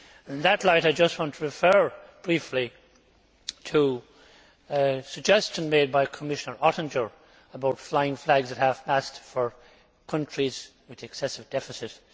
In that light, I just want to refer briefly to a suggestion made by Commissioner Oettinger about flying flags at half mast for countries with excessive deficits.